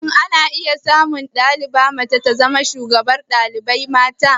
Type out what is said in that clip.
Shin ana samu diya mace ta zama shugabar dalibai mata?